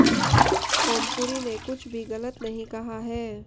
ओमपुरी ने कुछ भी गलत नहीं कहा है